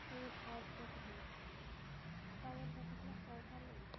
Heimir Már Pétursson: Hvað eru þessir flokkar að tala um?